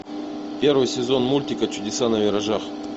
первый сезон мультика чудеса на виражах